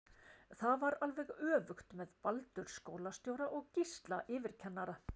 Það var alveg öfugt með Baldur skólastjóra og Gísla yfirkennara.